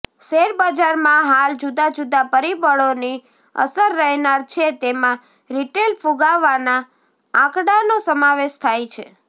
શેરબજારમાં હાલ જુદા જુદા પરિબળોની અસર રહેનાર છે તેમાં રિટેલ ફુગાવાના આંકડાનો સમાવેશ થાય છે